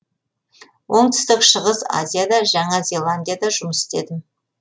оңтүстік шығыс азияда жаңа зеландияда жұмыс істедім